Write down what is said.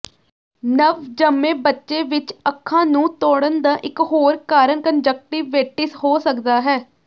ਨਵਜੰਮੇ ਬੱਚੇ ਵਿੱਚ ਅੱਖਾਂ ਨੂੰ ਤੋੜਨ ਦਾ ਇਕ ਹੋਰ ਕਾਰਨ ਕੰਨਜਕਟਿਵੇਟਿਸ ਹੋ ਸਕਦਾ ਹੈ